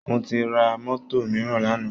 mo ti ra mọ́tò mìíràn lánàá